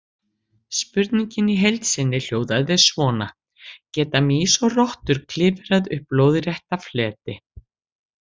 Spurningin í heild sinni hljóðaði svona: Geta mýs og rottur klifrað upp lóðrétta fleti?